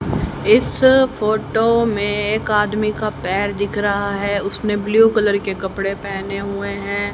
इस फोटो में एक आदमी का पैर दिख रहा है उसने ब्लू कलर के कपड़े पहने हुए हैं।